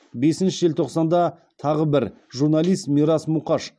бесінші желтоқсанда тағы бір журналист мирас мұқаш қазақстан